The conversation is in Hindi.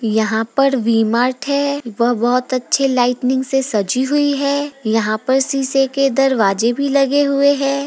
यहां पर वी मार्ट है वह बहुत अच्छे लाइटनिंग से सजी हुई है यहां पर शीशा के दरवाजे भी लगे हुए है।